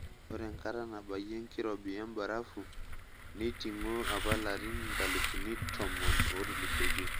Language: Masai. Ore enkata nabayie enkirobi embarafu neitingo apa larin nkalifuni tomon ootulusoitie.